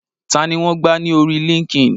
Tani wọn gbà ní orí líńki-inì?